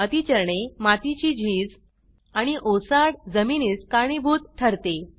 अती चरणे मातीची झीज आणि ओसाड जमिनीस कारणीभूत ठरते